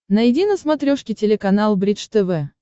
найди на смотрешке телеканал бридж тв